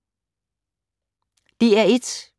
DR1